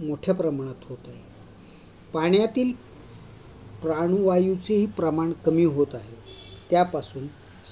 मोठ्या प्रमाणात होत आहे. पाण्यातील प्राणवायूचेही प्रमाण कमी होत आहेत त्यापासून